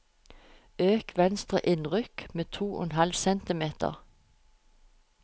Øk venstre innrykk med to og en halv centimeter